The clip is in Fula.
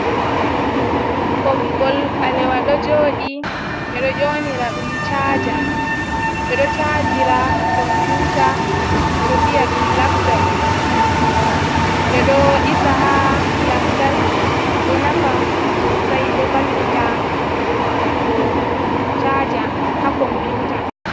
Ɓoggol ɓalewa ɗo joɗi, ɓeɗo nyaunira ɗum caja. ɓeɗo cajira ɗum komputa viya ɗum laptop ɗiisa ha lamtarki ɗo nafa sosai ɗo vallita hokkugo caja ha komputa.